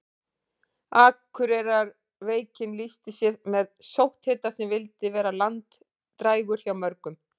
Akureyrarveikin lýsti sér með sótthita sem vildi vera langdrægur hjá mörgum.